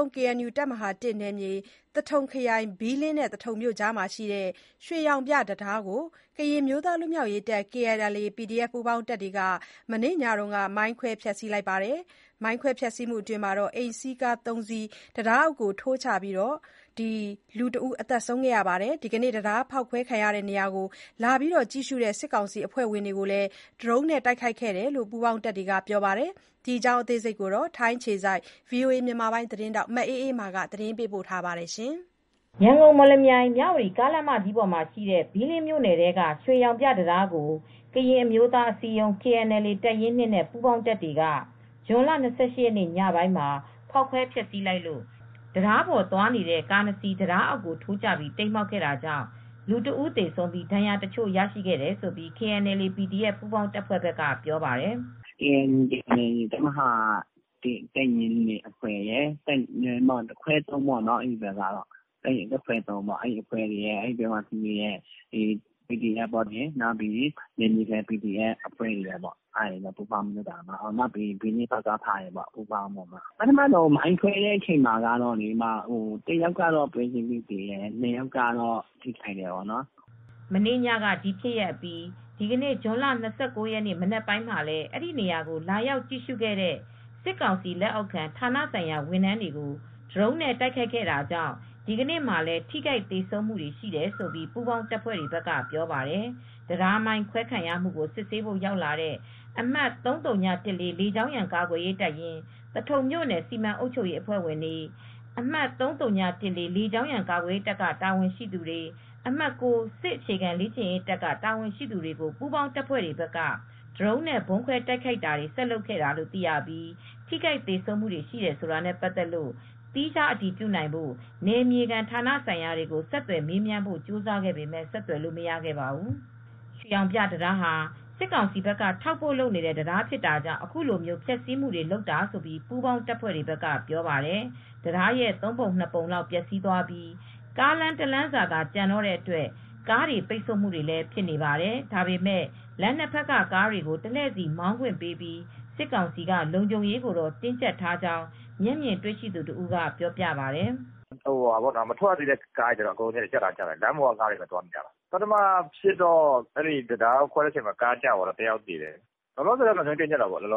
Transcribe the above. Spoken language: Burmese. ုံး KNU တပ်မဟာ နယ်မြေ သထုံခရိုင် ဘီးလင်းနဲ့ သထုံမြို့အကြားက ရွှေရောင်ပြတံတားကို ကရင်အမျိုးသားလွတ်မြောက်ရေးတပ် KNLA/PDF ပူးပေါင်းတပ်တွေက မနေ့ညက မိုင်းခွဲ ဖျက်ဆီးလိုက်ပြီးနောက် အိမ်စီးကား ၃ စီး တံတားအောက် ထိုးကျပြီး လူတဦး သေဆုံးခဲ့ပါတယ်။ ဒီကနေ့ တံတားဖောက်ခွဲခံရတဲ့နေရာကို လာရောက်ကြည့်ရှုတဲ့ စစ်ကောင်စီအဖွဲ့ဝင်တွေကိုလည်း ဒရုန်းနဲ့ တိုက်ခိုက်ခဲ့တယ်လို့ ပူးပေါင်းတပ်တွေက ပြောပါတယ်။ ဒီအကြောင်း ထိုင်းအခြေစိုက် ဗွီအိုအေ မြန်မာ သတင်းထောက် မအေးအေးမာက သတင်းပေးပို့ထားပါတယ်။ ရန်ကုန်-မော်လမြိုင်-မြဝတီ ကားလမ်းမကြီးပေါ်ရှိတဲ့ ဘီးလင်းမြို့နယ် ထဲက ရွှေရောင်ပြ တံတားကို ကရင်အမျိုးသားအစည်းအရုံး KNLA တပ်ရင်း နဲ့ ပူးပေါင်းတပ်တွေက ဇွန်လ ၂၈ ရက်နေ့ ညပိုင်းမှာ ဖောက်ခွဲဖျက်ဆီးလိုက်လို့ တံတားပေါ်သွားနေတဲ့ကား၂စီး တံတားအောက် ထိုးကျပြီး တိမ်းမှောက်ခဲ့တာကြောင့် လူတဦး သေဆုံးခဲ့ပြီး ဒဏ်ရာရသူတချို့ ရှိခဲ့တယ်လို့ KNLA/PDF ပူးပေါင်းတပ်ဖွဲ့က ပြောပါတယ်။ "ကေအန်ယူ နယ်မြေ တပ်မဟာ တပ်ရင်း အဖွဲ့ရယ် တပ်ခွဲ ပေါ့နော် အဲဒီ ဘီးလင်းဘက်က ပီဒီအက်ဖ်ပူးပေါင်းအဖွဲ့တွေက လုပ်ကြတာပါ ၊ နယ်မြေခံ ပီဒီအက်ဖ် အဖွဲ့တွေကပူးပေါင်းလုပ်ကြတာပါ။ ပထမ မိုင်းခွဲတဲ့အချိန်မှာတော့ တယောက်ကတော့ပွဲချင်းပြီး သေတယ် ၂ယောက်ကတော့ဒဏ်ရာရတယ်" မနေ့ညက ဒီဖြစ်ရပ်အပြီး ဒီနေ့ ဇွန်လ ၂၉ ရက်နေ့ မနက်မှာလည်း အဲဒီနေရာကို လာရောက်ကြည့်ရှုခဲ့တဲ့ စစ်ကောင်စီလက်အောက်ခံ ဌာနဆိုင်ရာ ဝန်ထမ်းတွေကို ဒရုန်းနဲ့ တိုက်ခိုက်ခဲ့တာကြောင့် ဒီကနေ့မှာလည်း ထိခိုက် သေဆုံးမူတွေ ရှိတယ်လို့ ပူးပေါင်းတပ်ဖွဲ့တွေက ပြောပါတယ်။ တံတားမိုင်းခွဲခံရမူကို စစ်ဆေးဖို့ ရောက်လာတဲ့ အမှတ် ၃၀၁၄ လေကြောင်းရန် ကာကွယ်ရေး တပ်ရင်း၊ သထုံမြို့နယ် စီမံအုပ်ချုပ်ရေး အဖွဲ့ဝင်တွေ၊ အမှတ် ၃၀၁၄ လေကြောင်းရန် ကာကွယ်ရေးတပ်က တာဝန်ရှိသူတွေ၊ အမှတ် ၉ စစ်အခြေခံလေ့ကျင့်ရေး တပ်က တာဝန်ရှိသူတွေကို ပူးပေါင်း တပ်ဖွဲ့ဘက်က ဒရုန်းနဲ့ ဗုံးခွဲတိုက်ခိုက်တာတွေ ဆက်လုပ်ခဲ့တာလို့ သိရပြီး ထိခိုက်သေဆုံးမူတွေ ရှိတယ် ဆိုတာနဲ့ပတ်သက်လို့ သီးခြားအတည်ပြုနိုင်ဖို့ နယ်မြေခံဌာနဆိုင်ရာတွေကို ဆက်သွယ်မေးမြန်းဖို့ ကြိုးစားပေမဲ့ ဆက်သွယ်လို့ မရခဲ့ပါဘူး။ ရွှေရောင်ပြတံတားဟာစစ်ကောင်စီဘက်က ထောက်ပို့လုပ်နေတဲ့တံတားဖြစ်တာကြောင့် အခုလိုဖျက်ဆီးတာလို့ ပူးပေါင်းတပ်ဖွဲ့တွေဘက်က ပြောပါတယ် ။ တံတားရဲ့ ၃ ပုံ ၂ ပုံလောက်ပျက်စီးသွားပြီး ကားလမ်းတလမ်းစာသာကျန်တဲ့အတွက် ကားပိတ်ဆို့နေပါတယ် ။ဒါပေမယ့် လမ်း ၂ ဘက်ကကားတွေကို တလှည့်စီမောင်းခွင့်ပေးပြီးစစ်ကောင်စီက လုံခြုံရေးကိုတော့တင်းကြပ်ထားကြောင်း မျက်မြင်တွေ့ရှိတဲ့ သူတဦးကပြောပါတယ်။ "မထွက်ရသေးတဲ့ကားတွေကတော့ရပ်ထားလိုက်ကြတယ် လမ်းပေါ်က ကားတွေကတော့သွားနေတယ် ပထမဖြစ်တော့ တံတားကိုခွဲတော့ တယောက်သေတယ် လောလောဆည်တော့လုံခြုံရေးတင်းကြပ်ထားတယ်"